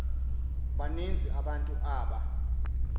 baninzi abantu aba